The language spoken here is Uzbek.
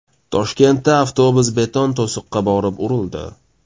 Toshkentda avtobus beton to‘siqqa borib urildi.